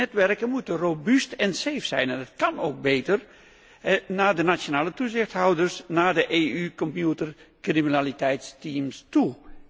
Onze netwerken moeten robuust en safe zijn en het kán ook beter naar de nationale toezichthouders, naar de EU computercriminaliteitsteams toe.